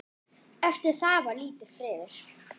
Eftir það var lítill friður.